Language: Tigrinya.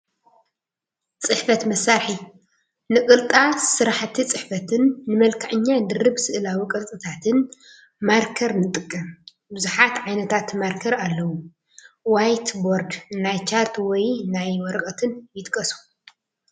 ፅሕፈት መሳርሒ፡- ንቅልጣ ስራሕቲ ፅሕፈትን ንመልከዐኛ ድርብ ስእላዊ ቅርፅታትን ማርከር ንጥቀም፡፡ ብዙሓት ዓይነታት ማርከር ኣለው፡፡ ዋይት ቦርድ፣ ናይ ቻርት ወይ ናይ ወረቐትን ይጥቀሱ፡፡